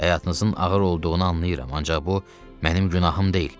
Həyatınızın ağır olduğunu anlayıram, ancaq bu mənim günahım deyil.